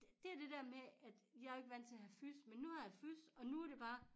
Dét det dér med at jeg ikke vandt til at have fys men nu har jeg fys og nu er det bare